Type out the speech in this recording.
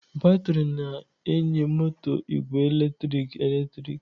Batrị na-enye moto igwe eletrik eletrik.